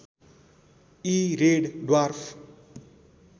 यी red dwarf